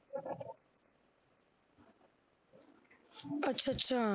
ਅੱਛਾ ਅੱਛਾ।